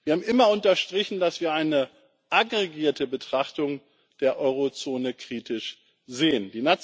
Wir haben immer unterstrichen, dass wir eine aggregierte Betrachtung der Eurozone kritisch sehen.